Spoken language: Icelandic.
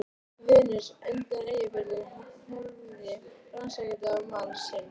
Venus undan Eyjafjöllum horfði rannsakandi á mann sinn.